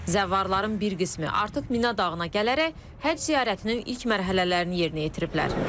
Zəvvarların bir qismi artıq Mina dağına gələrək həcc ziyarətinin ilk mərhələlərini yerinə yetiriblər.